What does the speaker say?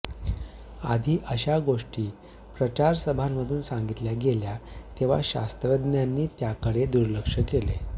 आधी अशा गोष्टी प्रचारसभांमधून सांगितल्या गेल्या तेव्हा शास्त्रज्ञांनी त्याकडे दुर्लक्ष केले